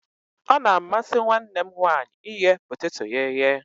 Ọ na-amasi nwanne m nwanyi ighe poteto ya eye